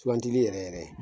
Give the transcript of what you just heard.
Sugantili yɛrɛ yɛrɛ